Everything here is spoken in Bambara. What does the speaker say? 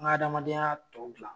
Nga adamadenya tɔw gila